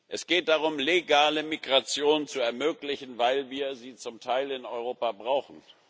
Es geht darum, legale Migration zu ermöglichen, weil wir sie zum Teil in Europa brauchen.